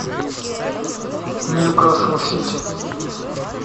ньюкасл сити